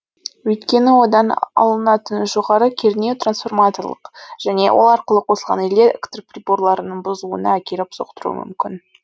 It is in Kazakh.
өйткені одан алынатын жоғары кернеу транформаторлық және ол арқылы қосылған электр приборларының бұзылуына әкеліп соқтыруы мүмкін